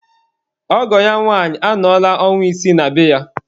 Ọgọ ya nwanyị anọla ọnwa isii na be ya.